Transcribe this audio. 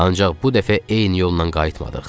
Ancaq bu dəfə eyni yoldan qayıtmadıq.